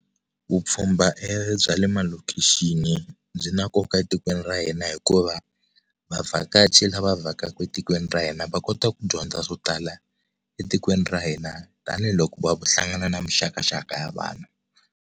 Vupfhumba bya le malokixini byi na nkoka etikweni ra hina hikuva vavhakachi lava vhakaka etikweni ra hina va kota ku dyondza swo tala etikweni ra hina tanihiloko va hlangana na mixakaxaka ya vanhu.